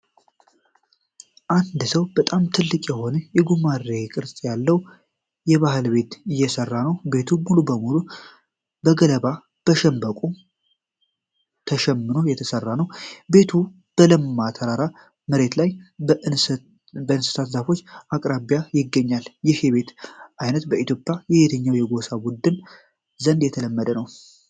አንድ ሰው በጣም ትልቅ የሆነ የጉማሬ ቅርጽ ያለው የባህል ቤት እየሠራ ነው። ቤቱ ሙሉ በሙሉ በገለባና በሸንበቆ ተሸምኖ የተሠራ ነው። ቤቱ በለማ ተራራማ መሬትላይ በእንሰት ዛፎች አቅራቢያ ይገኛል። ይህ የቤት ዓይነት በኢትዮጵያ በየትኛው የጎሳ ቡድን ዘንድ የተለመደ ነው?